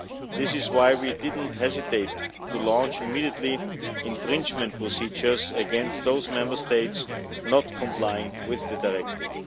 That is why we did not hesitate to launch immediate infringement procedures against those Member States not complying with the directive.